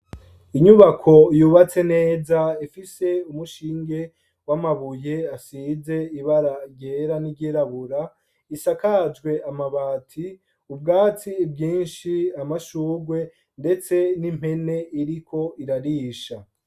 Inyubako yubatse neza ifise umushinge w' amabuye asize ibara ryera n' iryirabura, isakajwe amabati, ubwatsi bwinshi, amashurwe, ndetse n' impene iriko irarisha.